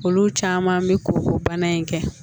Olu caman bɛ ko ko bana in kɛ